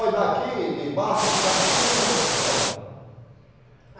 Olha, daqui de barco, a gente gasta uns quinze minutos para chegar lá.